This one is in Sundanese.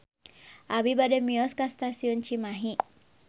Abi bade mios ka Stasiun Cimahi